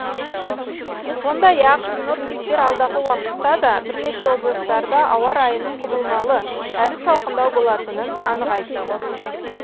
сондай ақ синоптиктер алдағы уақытта да бірнеше облыстарда ауа райының құбылмалы әрі салқындау болатынын анық айтты